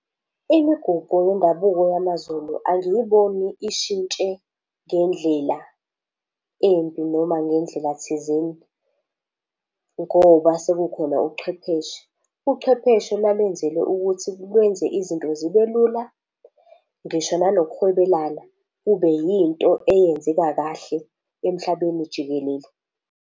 Imigubho yendabuko yamaZulu angiyiboni ishintshe ngendlela embi noma ngendlela thizeni ngoba sekukhona ubuchwepheshe. Uchwepheshe lalenzelwe ukuthi lwenze izinto zibe lula, ngisho nanokuhwebelana kube yinto eyenzeka kahle emhlabeni jikelele.